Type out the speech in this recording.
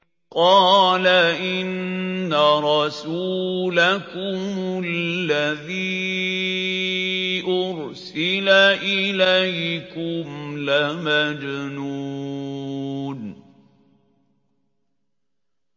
قَالَ إِنَّ رَسُولَكُمُ الَّذِي أُرْسِلَ إِلَيْكُمْ لَمَجْنُونٌ